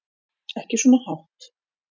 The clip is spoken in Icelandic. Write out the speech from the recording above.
Ekki svona hátt.